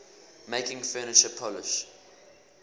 making furniture polish